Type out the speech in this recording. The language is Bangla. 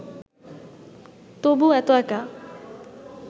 তবু এত একা